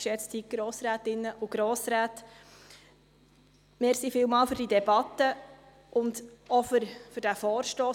Vielen Dank für diese Debatte und auch für diesen Vorstoss.